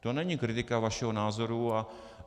To není kritika vašeho názoru.